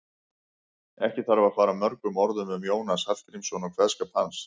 Ekki þarf að fara mörgum orðum um Jónas Hallgrímsson og kveðskap hans.